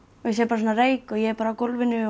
sé bara reyk og ég er bara á gólfinu